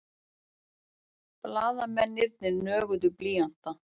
Blaðamennirnir nöguðu blýanta.